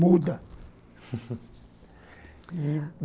Muda